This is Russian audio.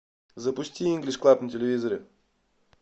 запусти инглиш клаб на телевизоре